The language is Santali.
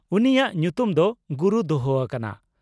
ᱩᱱᱤᱭᱟᱜ ᱧᱩᱛᱩᱢ ᱫᱚ 'ᱜᱩᱨᱩ' ᱫᱚᱦᱚ ᱟᱠᱟᱱᱟ ᱾